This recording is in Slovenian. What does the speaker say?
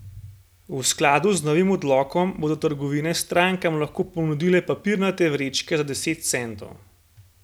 V skladu z novim odlokom bodo trgovine strankam lahko ponudile papirnate vrečke za deset centov.